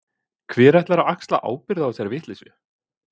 Hver ætlar að axla ábyrgð á þessari vitleysu?